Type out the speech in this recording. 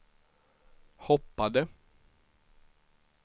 hoppade